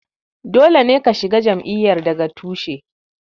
Dole ne ka shiga jam'iyyar daga tushe.